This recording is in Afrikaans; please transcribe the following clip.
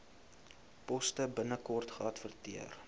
poste binnekort geadverteer